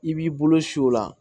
I b'i bolo si o la